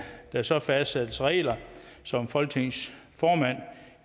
der så fastsættes regler som folketingets formand